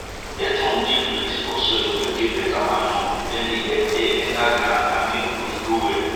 earthworm dey plenty for soil wey get better manure dem dey help air enter ground and make root grow well